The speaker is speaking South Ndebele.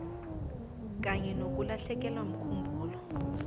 kanye nokulahlekelwa mkhumbulo